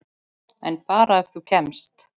En bara þegar þú kemst.